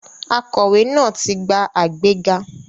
Akọ̀wé náà ti gba àgbéga.